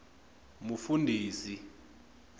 mufundhisi